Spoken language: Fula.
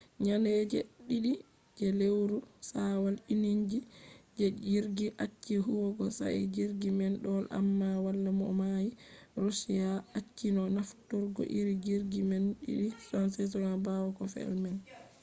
nyande je ɗiɗi je lewru shawwal inji je jirgi acci huwugo sai jirgi man do’i amma wala mo nauni. roshiya acci no nafturgo iri jirgi man ii-76s ɓawo ko fe’i man